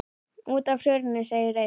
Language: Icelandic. Út af hruninu segir Eyþór.